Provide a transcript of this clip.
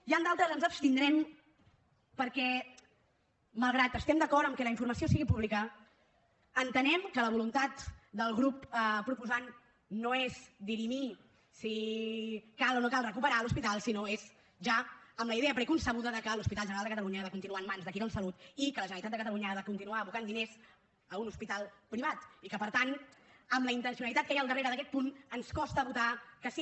i en d’altres ens abstindrem perquè malgrat que estem d’acord que la informació sigui pública entenem que la voluntat del grup proposant no és dirimir si cal o no cal recuperar l’hospital sinó que és ja amb la idea preconcebuda que l’hospital general de catalunya ha de continuar en mans de quirónsalud i que la generalitat de catalunya ha de continuar abocant diners a un hospital privat i per tant amb la intencionalitat que hi ha al darrere d’aquest punt ens costa votar que sí